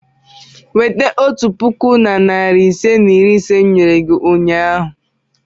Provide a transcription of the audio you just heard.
Weta otu puku na narị ise na iri ise m nyere gị ụnyahụ!